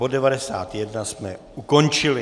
Bod 91 jsme ukončili.